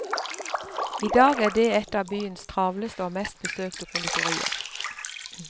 I dag er det et av byens travleste og mest besøkte konditorier.